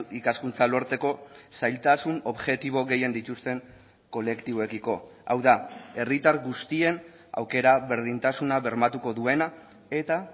ikaskuntza lortzeko zailtasun objektibo gehien dituzten kolektiboekiko hau da herritar guztien aukera berdintasuna bermatuko duena eta